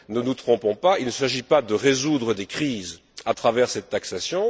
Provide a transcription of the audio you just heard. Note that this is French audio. Ne nous trompons pas il ne s'agit pas de résoudre des crises à travers cette taxation.